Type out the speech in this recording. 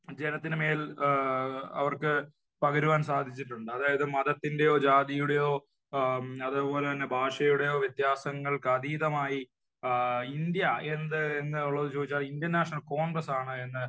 ജനത്തിനു മേൽ അവർക്ക് പകരുവാൻ സാധിച്ചിട്ടുണ്ട്. അതായത് മതത്തിന്റെയോ ജാതിയുടെയോ അതേപോലെ തന്നെ ഭാഷയുടെയോ വ്യത്യാസങ്ങൾക്ക് അതീതമായി ഇന്ത്യ എന്ത് എന്നുള്ളത് ചോദിച്ചാൽ ഇന്ത്യൻ നാഷനൽ കോൺഗ്രസ്സ് ആണ് എന്ന്